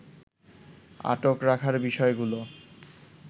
আটক রাখার বিষয়গুলো